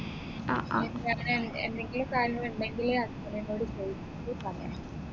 എന്തെങ്കിലും കാര്യങ്ങൾ ഉണ്ടെങ്കില് husband നോട് ചോദിച്ചിട്ട് പറയാം